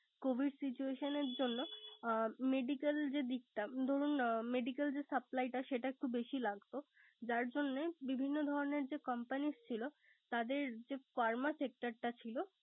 Covid situation এর জন্য medical যে দিকটা ধরুন medical supply টা সেটা একটু বেশি লাগতো। যার জন্যে বিভিন্ন companies ছিল তাদের pharma sector টা ছিল